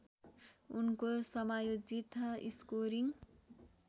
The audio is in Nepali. उनको समायोजित स्कोरिङ